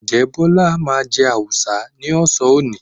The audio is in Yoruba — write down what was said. Ǹjẹ́ Bọ́lá máa jẹ Awùsá ní ọ̀sán òní?